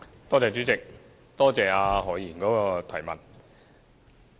代理主席，多謝何議員的補充質詢。